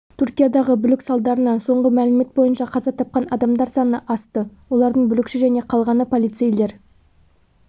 түркиядағы бүлік салдарынан соңғы мәлімет бойынша қаза тапқан адамдар саны асты олардың бүлікші және қалғаны полицейлер